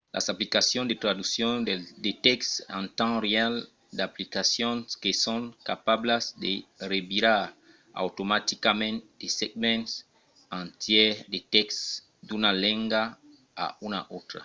las aplicacions de traduccion de tèxt en temps real - d'aplicacions que son capablas de revirar automaticament de segments entièrs de tèxt d'una lenga a una autra